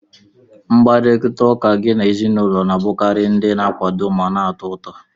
Mkparịta ụka gị na ezinụlọ na-abụkarị ndị na-akwado ma na-atọ ụtọ